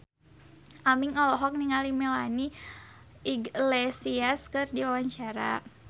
Aming olohok ningali Melanie Iglesias keur diwawancara